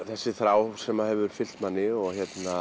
þessi þrá sem hefur fylgt manni og